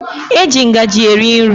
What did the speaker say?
E ji ngaji eri nri.